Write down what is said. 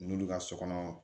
N'olu ka so kɔnɔ